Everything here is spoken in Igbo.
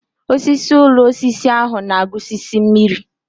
Osisi ụlọ osisi ahụ na-agusisi mmiri.